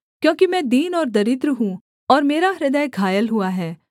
क्योंकि मैं दीन और दरिद्र हूँ और मेरा हृदय घायल हुआ है